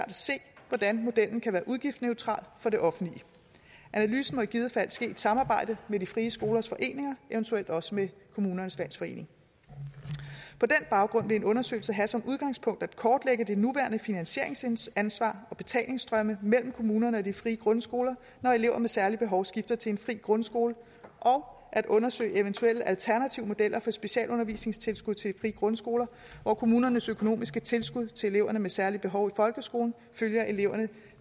hvordan modellen kan være udgiftsneutral for det offentlige analysen må i givet fald ske i et samarbejde med de frie skolers foreninger eventuelt også med kommunernes landsforening på den baggrund vil en undersøgelse have som udgangspunkt at kortlægge det nuværende finansieringsansvar og betalingstrømmene mellem kommunerne og de frie grundskoler når elever med særlige behov skifter til en fri grundskole og at undersøge eventuelle alternative modeller for specialundervisningstilskud til de frie grundskoler hvor kommunernes økonomiske tilskud til elever med særlige behov i folkeskolen følger eleverne